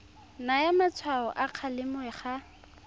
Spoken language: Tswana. naya matshwao a kgalemo ga